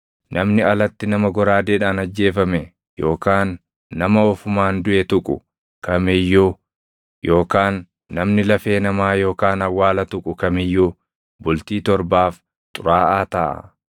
“Namni alatti nama goraadeedhaan ajjeefame yookaan nama ofumaan duʼe tuqu kam iyyuu yookaan namni lafee namaa yookaan awwaala tuqu kam iyyuu bultii torbaaf xuraaʼaa taʼa.